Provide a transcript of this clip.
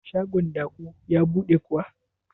shagon Da'u ya buɗe kuwa?